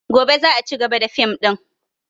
Gobe za a cigaba da fim ɗin